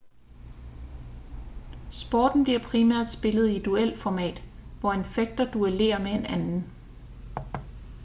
sporten bliver primært spillet i duelformat hvor en fægter duellerer med en anden